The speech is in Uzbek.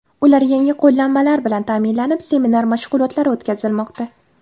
Ular yangi qo‘llanmalar bilan ta’minlanib, seminar mashg‘ulotlari o‘tkazilmoqda.